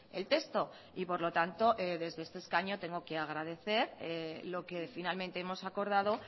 el texto y por lo tanto desde este escaño tengo que agradecer lo que finalmente hemos acordado